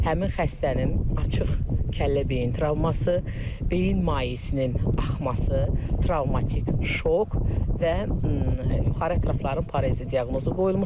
Həmin xəstənin açıq kəllə beyin travması, beyin mayesinin axması, travmatik şok və yuxarı ətrafların parezi diaqnozu qoyulmuşdur.